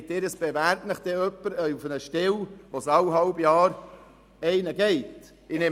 Meinen Sie, es bewerbe sich jemand auf eine Stelle, welche jeweils nach einem halben Jahr wieder verlassen wird?